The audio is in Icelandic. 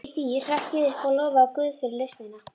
Í því hrökk ég upp og lofaði guð fyrir lausnina.